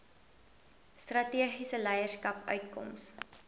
strategiese leierskap uitkoms